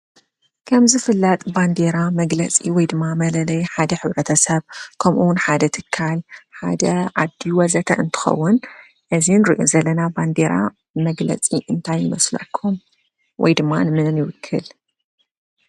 ከምዝፍለጥ ባንዴራ መግለፂ ወይድማ መለለዪ ሓደ ሕ/ሰብ ከምኡውን ሓደ ትካል ሓደ ዓዲ ወዘተ እንትኸውን እዚ ንሪኦ ዘለና ባንዴራ መግለፂ እንታይ ይመስለኩም? ወይድማ ንመን ይውክል?